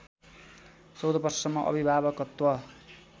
१४ वर्षसम्म अभिभावकत्व